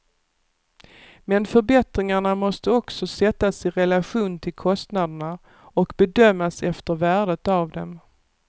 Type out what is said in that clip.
Men förbättringarna måste också sättas i relation till kostnaderna och bedömas efter värdet av dem.